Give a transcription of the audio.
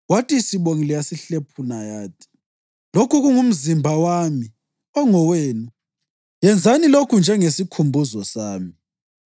kwathi isibongile, yasihlephuna yathi, “Lokhu kungumzimba wami, ongowenu; yenzani lokhu njengesikhumbuzo sami.”